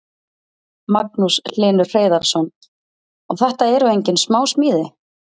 Magnús Hlynur Hreiðarsson: Og þetta eru engin smá smíði?